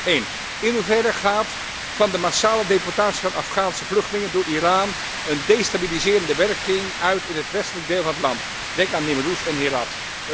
1. In hoeverre gaat van de massale deportatie van Afghaanse vluchtelingen door Iran een destabiliserende werking uit in het westelijk deel van het land, denk aan Nimruz en Herat.